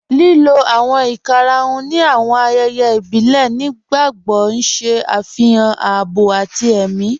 Lílò awọn ìkàràhùn ni awọn ayéyé ìbílẹ̀ nígbàgbogbo n ṣẹ afihàn àábọ̀ àti è̩mi.